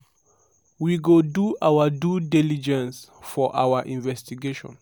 ‘’we go do our due diligence for our investigation.